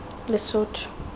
lesotho